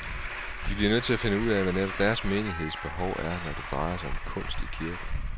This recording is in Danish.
De bliver nødt til at finde ud af, hvad netop deres menigheds behov er, når det drejer sig om kunst i kirken.